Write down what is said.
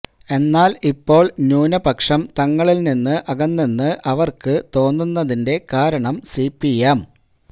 എന്നാൽ ഇപ്പോൾ ന്യൂനപക്ഷം തങ്ങളിൽ നിന്നും അകന്നെന്ന് അവർക്ക് തോന്നുന്നതിന്റെ കാരണം സിപിഎം